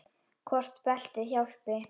Hvort beltið hjálpi?